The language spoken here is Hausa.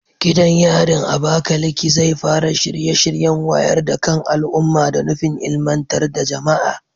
Gidan yarin Abakaleke zai fara shirye-shiryen wayar da kan al'umma da nufin ilmantar da jama'a.